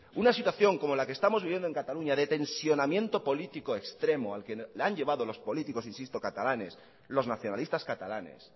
una situación como la que estamos viviendo en cataluña de tensionamiento político extremo al que la han llevado los políticos insisto catalanes los nacionalistas catalanes